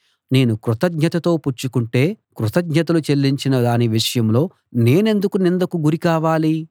నేను కృతజ్ఞతతో పుచ్చుకొంటే కృతజ్ఞతలు చెల్లించిన దాని విషయంలో నేనెందుకు నిందకు గురి కావాలి